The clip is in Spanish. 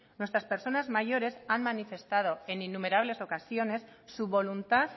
nuestras personas mayores han manifestado en innumerables ocasiones su voluntad